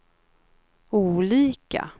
olika